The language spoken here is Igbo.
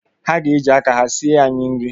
Ha ga-eji aka ha sie anyị nri.